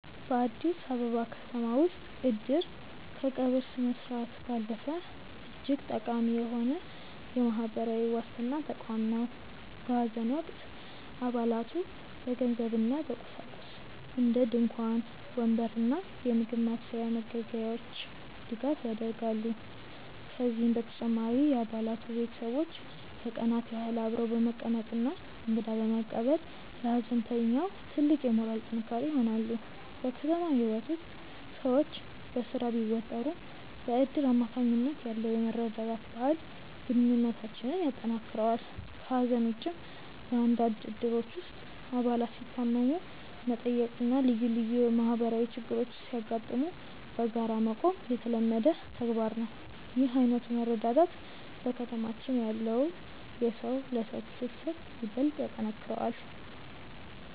በአዲስ አበባ ከተማ ውስጥ "እድር" ከቀብር ስነስርዓት ባለፈ እጅግ ጠቃሚ የሆነ የማህበራዊ ዋስትና ተቋም ነው። በሐዘን ወቅት አባላቱ በገንዘብና በቁሳቁስ (እንደ ድንኳን፣ ወንበር እና የምግብ ማብሰያ መገልገያዎች) ድጋፍ ያደርጋሉ። ከዚህም በተጨማሪ የአባላቱ ቤተሰቦች ለቀናት ያህል አብረው በመቀመጥና እንግዳ በመቀበል ለሐዘንተኛው ትልቅ የሞራል ጥንካሬ ይሆናሉ። በከተማ ህይወት ውስጥ ሰዎች በስራ ቢወጠሩም፣ በእድር አማካኝነት ያለው የመረዳዳት ባህል ግንኙነታችንን ያጠናክረዋል። ከሐዘን ውጭም፣ በአንዳንድ እድሮች ውስጥ አባላት ሲታመሙ መጠየቅና ልዩ ልዩ ማህበራዊ ችግሮች ሲያጋጥሙ በጋራ መቆም የተለመደ ተግባር ነው። ይህ ዓይነቱ መረዳዳት በከተማችን ያለውን የሰው ለሰው ትስስር ይበልጥ ያጠነክረዋል።